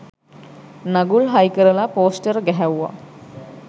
නගුල් හයිකරලා පෝස්ටර් ගැහැව්වා.